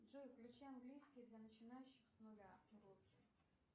джой включи английский для начинающих с нуля уроки